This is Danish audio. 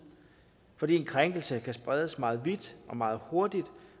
fordi en krænkelse kan spredes meget vidt og meget hurtigt